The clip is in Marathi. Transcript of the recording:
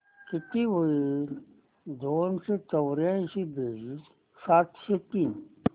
किती होईल दोनशे चौर्याऐंशी बेरीज सातशे तीस